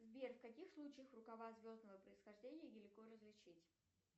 сбер в каких случаях рукава звездного происхождения нелегко различить